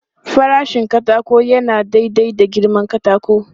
Farashin katako yana daidai da girman katakon.